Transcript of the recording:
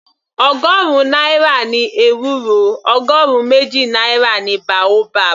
Ọgọrun náírà ni ewúro, ọgọrun méjì náírà ni boabab.